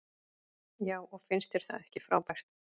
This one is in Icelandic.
Já og finnst þér það ekki frábært?